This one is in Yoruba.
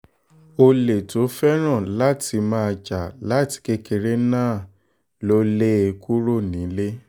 olè tó fẹ́ràn láti máa jà láti kékeré náà lọ lé e kúrò nílé